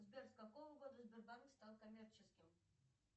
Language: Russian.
сбер с какого года сбербанк стал коммерческим